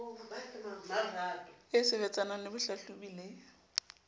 ba sebetsanang le bohlahlobi le